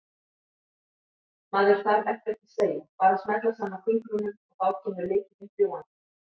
Maður þarf ekkert að segja, bara smella saman fingrunum og þá kemur lykillinn fljúgandi!